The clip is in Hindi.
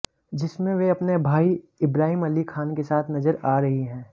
जिसमें वे अपने भाई इब्राहिम अली खान के साथ नजर आ रही हैं